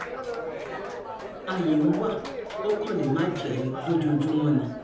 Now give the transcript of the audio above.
ààyè ń wá ó kàn lè má jẹ́ lójoojúmọ́ ni